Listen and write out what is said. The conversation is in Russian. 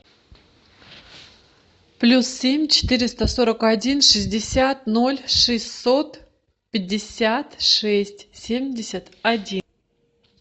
плюс семь четыреста сорок один шестьдесят ноль шестьсот пятьдесят шесть семьдесят один